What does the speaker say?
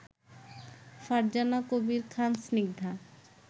Farzana Kabir Khan Snigdha